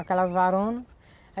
Aquelas varonas.